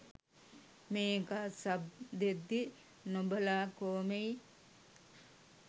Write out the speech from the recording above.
මේකා සබ් දෙද්දී නොබලා කෝමෙයි.